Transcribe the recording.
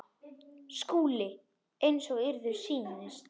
SKÚLI: Eins og yður sýnist.